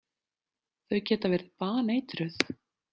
Þau geta verið baneitruð.